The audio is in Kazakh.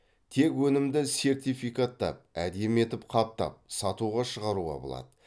тек өнімді сертификаттап әдемі етіп қаптап сатуға шығаруға болады